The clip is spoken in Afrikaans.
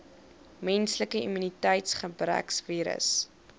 menslike immuniteitsgebrekvirus